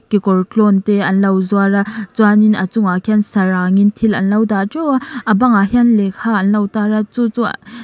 kekawr tlawn te anlo zuar a chuan in a chungah khianin sarangin thil anlo dah teuh a a bang ah hian lehkha an lo tar a chu chu--